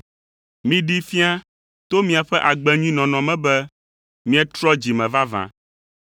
Miɖee fia to miaƒe agbe nyui nɔnɔ me be mietrɔ dzi me vavã.